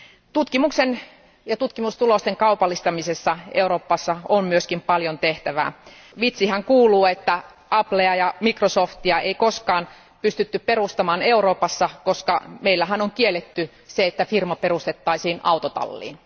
Tutkimuksen ja tutkimustulosten kaupallistamisessa Euroopassa on myös paljon tehtävää. Vitsihän kuuluu, että Applea ja Microsoftia ei koskaan pystytty perustamaan Euroopassa, koska meillähän on kielletty se, että firma perustettaisiin autotalliin.